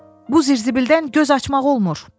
Bu zirzibildən göz açmaq olmur!